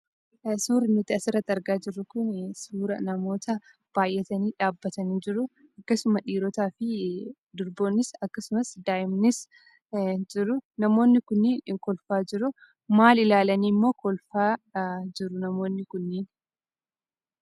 Suurri nuti asirratti argaa jirruu kunii, suuraa namoota baayyatanii dhaabbatanii jiru. Akkasuma dhiirotaafii durboonnis akkasumas daa'imnis jiru. Namoonni kunniin kolfaa jiruu. Maal ilaalaniimmoo kolfaa jiru namoonni kunniin?